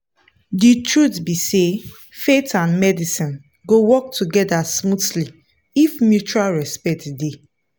the truth be sayfaith and medicine go work together smoothly if mutual respect dey.